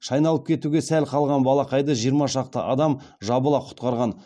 шайналып кетуге сәл ақ қалған балақайды жиырма шақты адам жабыла құтқарған